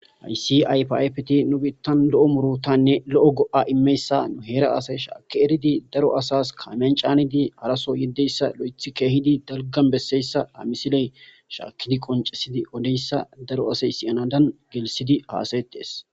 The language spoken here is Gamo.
Eysi aypaypti nu biittan lo'o murotanne lo'o go'a immeyssa nu heera asay shaakki eridi daro asas kamyan caanidi haraso yeddeyssa lo'eth keehidi dalgan besseyssa amisiley shaakkidi qoncesidi wodeyssa daro asay siyanadan gelisidi haasayetees.